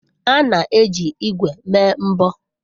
A na-eji ígwè mee mbọ.